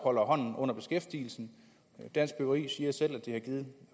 holder hånden under beskæftigelsen dansk byggeri siger selv at det har givet